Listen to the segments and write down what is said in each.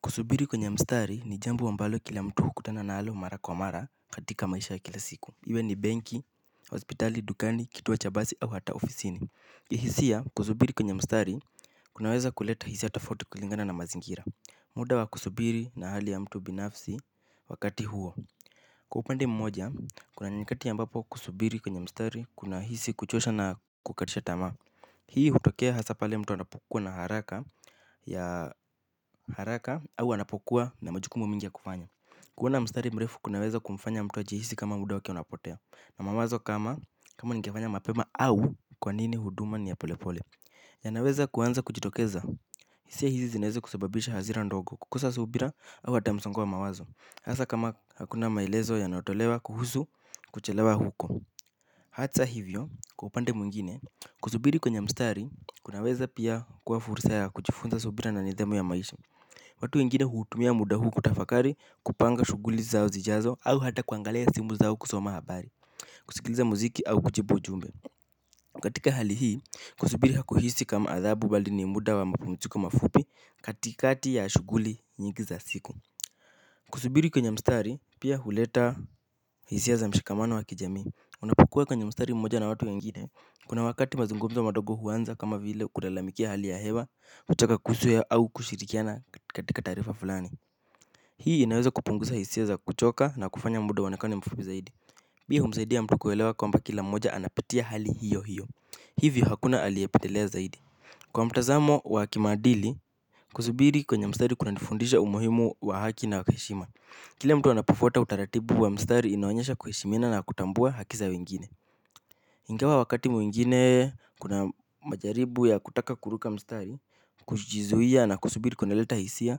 Kusubiri kwenye mstari ni jambo ambalo kila mtu hukutana nalo mara kwa mara katika maisha ya kila siku. Iwe ni benki, hospitali, dukani, kituo cha basi au hata ofisini. Kihisia kusubiri kwenye mstari kunaweza kuleta hisia tofauti kulingana na mazingira. Muda wa kusubiri na hali ya mtu binafsi wakati huo. Kwa upande mmoja, kuna nyakati ambapo kusubiri kwenye mstari kuna hisi kuchosha na kukatisha tama. Hii hutokea hasa pale mtu anapokuwa na haraka ya haraka au anapokuwa na majukumu mingi ya kufanya. Kuona mstari mrefu kunaweza kumfanya mtu ajihisi kama muda wake unapotea. Na mawazo kama kama ningefanya mapema au kwa nini huduma ni ya pole pole yanaweza kuanza kujitokeza. Hisia hizi zinaeza kusababisha hazira ndogo kukosa subira au hata msongo wa mawazo hasa kama hakuna maelezo yanayotolewa kuhusu kuchelewa huko. Hata hivyo kwa upande mwingine kusubiri kwenye mstari kunaweza pia kuwa furisa ya kujifunza subira na nidhamu ya maisha. Watu wengine huutumia muda huu kutafakari kupanga shuguli zao zijazo au hata kuangalia simu zao kusoma habari. Kusikiliza muziki au kujibu ujumbe katika hali hii kusubiri hakuhisi kama adhabu bali ni muda wa mapumuziko mafupi katikati ya shuguli nyingi za siku. Kusubiri kwenye mstari pia huleta hisia za mshikamano wa kijamii. Unapokuwa kwenye mstari mmoja na watu wengine kuna wakati mazungumzo madogo huanza kama vile kulalamikia hali ya hewa kutaka kusue au kushirikiana katika taarifa fulani hii inaweza kupunguza hisia za kuchoka na kufanya muda uonekane mfupi zaidi pia humsaidia mtu kuelewa kwamba kila mmoja anapitia hali hiyo hiyo. Hivi hakuna aliepitelea zaidi kwa mtazamo wa kimaadili kuzubiri kwenye mstari kuna nifundisha umuhimu wa haki na heshima kila mtu anapofuata utaratibu wa mstari inoanyesha kuheshimiana na kutambua haki za wengine. Ingawa wakati mwingine kuna majaribu ya kutaka kuruka mstari kujizuia na kusubiri kuna leta hisia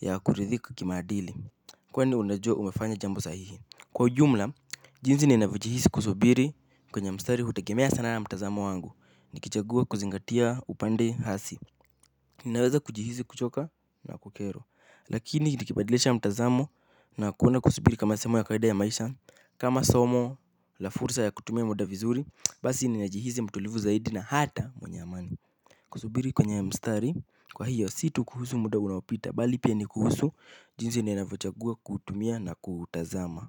ya kuridhika kimaadili. Kwani unajua umefanya jambo sahihi. Kwa ujumla, jinzi ninavyo jihisi kusubiri kwenye mstari hutegemea sana na mtazamo wangu nikichagua kuzingatia upande hasi. Ninaweza kujihisi kuchoka na kukero. Lakini nikibadilisha mtazamo na kuona kusubiri kama semu ya kawaida ya maisha kama somo la fursa ya kutumia muda vizuri basi ninajihizi mtulivu zaidi na hata mwenye amani. Kusubiri kwenye mstari kwa hiyo si tu kuhusu muda unaopita bali pia ni kuhusu jinsi ninavyo chagua kuutumia na kuutazama.